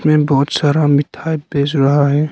ये बहुत सारा मिठाई बेच रहा है।